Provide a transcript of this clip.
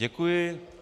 Děkuji.